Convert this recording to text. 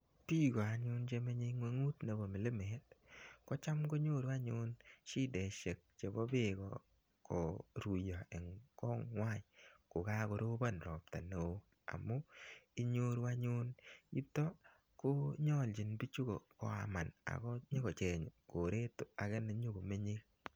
Piiko anyun che menye ig'unyut nepo milimet ko cham konyoru anyun shideshek chepo peek koruya eng' konywan ko karopon ropta ne oo amu inyoru anyun yutok konyalchin pichuton koaman ako nyu kocheng' koret ne menye.